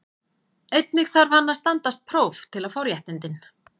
Einnig þarf hann að standast próf til að fá réttindin.